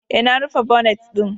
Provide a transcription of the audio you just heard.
E, na rufe bonet ɗin.